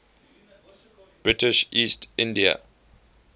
british east india